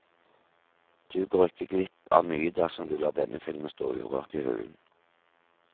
Du går ikke glipp av mye dersom du lar denne filmen stå urørt i hyllen.